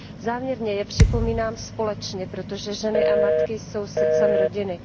Záměrně je připomínám společně, protože ženy a matky jsou srdcem rodiny.